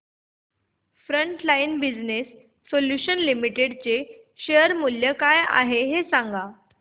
frontline Business Solutions Limited share चे मूल्य काय आहे हे सांगा